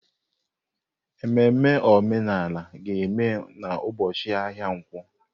Ememe omenala ga-eme n'ụbọchị ahịa nkwo.